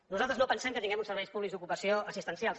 nosaltres no pensem que tinguem uns serveis públics d’ocupació assistencials